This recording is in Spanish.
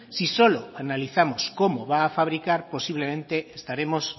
si solo analizamos cómo va a fabricar posiblemente estaremos